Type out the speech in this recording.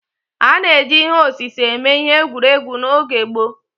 A na-eji ihe osise eme ihe egwuregwu n'oge gboo